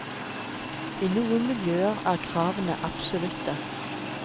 I noen miljøer er kravene absolutte.